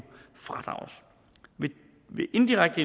fradrages ved indirekte